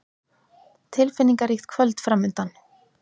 Tilfinningaríkt kvöld framundan.